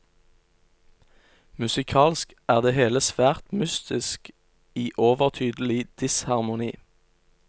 Musikalsk er det hele svært mystisk i overtydelig disharmoni.